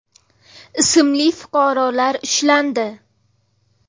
ismli fuqarolar ushlandi.